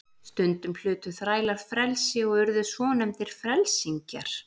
Stundum hlutu þrælar frelsi og urðu svonefndir frelsingjar.